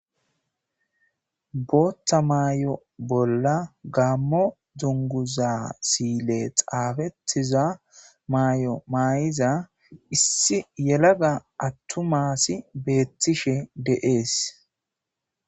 Booththa maay,o bolla gammo dunguza siyile xaafetiza maay,o may,iza issi yelaga attu maasi beettishe deees.